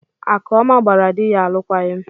Akụọma gbara di ya alụkwaghịm.